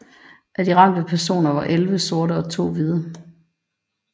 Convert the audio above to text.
Af de ramte personer var elleve sorte og to hvide